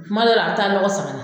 Kuma dɔw la a bi taa lɔgɔ san ka na